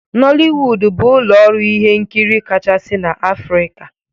Nollywood bụ ụlọ ọrụ ihe nkiri kachasị na Afrika.